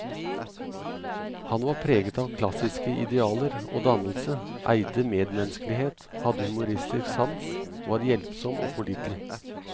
Han var preget av klassiske idealer og dannelse, eide medmenneskelighet, hadde humoristisk sans, var hjelpsom og pålitelig.